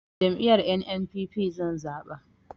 Jam'iyyar NNPP zan zaɓa